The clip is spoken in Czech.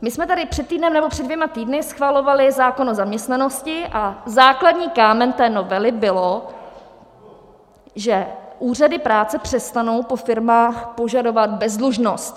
My jsme tady před týdnem nebo před dvěma týdny schvalovali zákon o zaměstnanosti a základní kámen té novely byl, že úřady práce přestanou po firmách požadovat bezdlužnost.